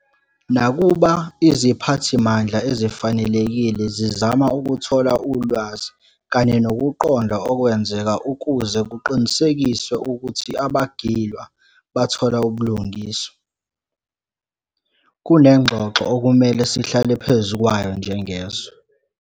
Nakuba iziphathimandla ezifanelekile zizama ukuthola ulwazi kanye nokuqonda okwenzeka ukuze kuqinisekiswe ukuthi abagilwa bathola ubulungiswa, kunengxoxo okumele sihlale phezu kwayo njengezwe.